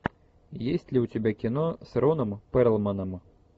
есть ли у тебя кино с роном перлманом